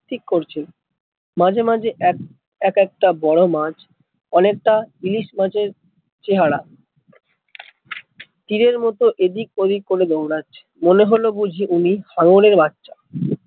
ঠিক করছে, মাঝে মাঝে এক এক একটা বড়ো মাছ অনেক তা ইলিশ মাছের চেহারা, তীরের মতো এদিক ওদিক করে দৌড়াচ্ছে, মনে হলো বুঝি ওই হাঙ্গর এর বাচ্চা।